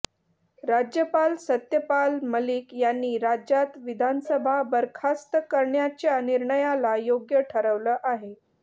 राज्यपाल सत्यपाल मलिक यांनी राज्यात विधानसभा बरखास्त करण्याच्या निर्णयाला योग्य ठरवलं आहे